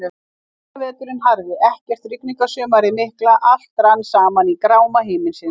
Frostaveturinn harði, ekkert Rigningarsumarið mikla, allt rann saman í gráma himinsins.